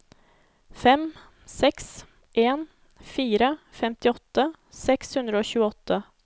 fem seks en fire femtiåtte seks hundre og tjueåtte